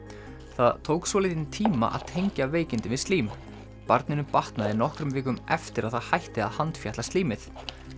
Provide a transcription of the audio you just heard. það tók svolítinn tíma að tengja veikindin við slím barninu batnaði nokkrum vikum eftir að það hætti að handfjatla slímið